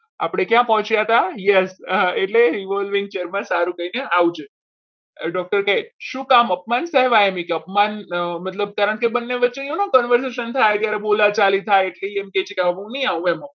આપણે ક્યાં પહોંચ્યા હતા યસ એટલે revolve chair માં પડખું ફેરવીને આવજો doctor કહે શું કામ કરવા એમ અપમાન કરવા કારણકે બંને વચ્ચે એવું conversation થાય કે ત્યારે બોલાતું બોલાચાલી થાય એટલે કહે છે કે હું નહિ આવું.